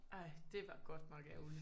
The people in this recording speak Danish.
Ej det var godt nok ærgerligt